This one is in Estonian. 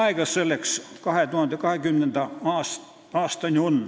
Aega selleks on 2020. aastani.